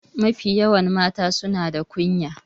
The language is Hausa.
Mafi yawan mata suna da kunya.